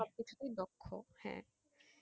সবকিছুতেই দক্ষ হ্যাঁ।